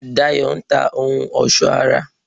Dayọ̀ n ta ohun ọ̀sọ́ ara